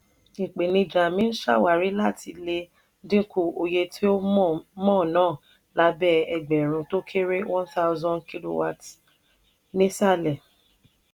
ìpènijà mi ń ṣàwárí láti lè dínkù oye tí mò n ná lábẹ́ ẹgbẹ̀rún tó kéré (1000) kwh nísàlẹ̀.